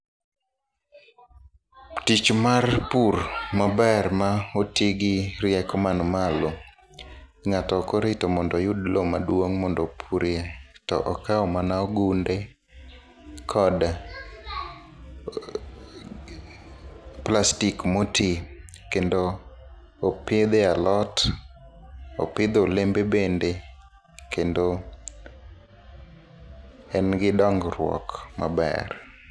Tich mar pur maber ma otigi rieko man malo. Ngáto ok orito mondo oyud lowo maduong' mondo opurie. To okawo mana ogunde kod plastic moti kendo opidhe alot, opidhe olembe bende. Kendo en gi dongruok maber.